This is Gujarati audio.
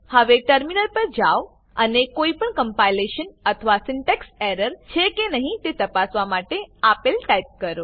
હવે ટર્મિનલ પર જાવ અને કોઈપણ કમ્પાઈલેશન અથવા સિન્ટેક્સ એરર છે કે નહી તે તપાસવા માટે આપેલ ટાઈપ કરો